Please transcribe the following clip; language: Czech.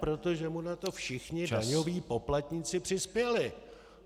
Protože mu na to všichni daňoví poplatníci přispěli.